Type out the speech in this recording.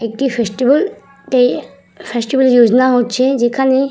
একটি ফেস্টিভ্যাল তে ফেস্টিভ্যাল যোজনা হচ্ছে যেখানে --